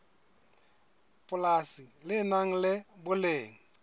polasi le nang le boleng